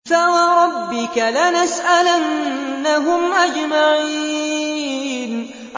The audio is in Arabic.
فَوَرَبِّكَ لَنَسْأَلَنَّهُمْ أَجْمَعِينَ